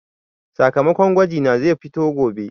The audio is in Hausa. Sakamakon gwaji na zai fito gobe.